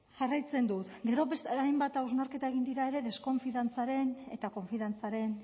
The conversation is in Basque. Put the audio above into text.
jarraitzen dut gero hainbat hausnarketa egin dira ere deskonfiantzaren eta konfiantzaren